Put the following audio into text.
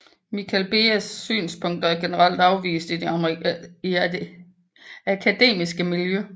Michael Behes synspunkter er generelt afvist af det akademiske miljø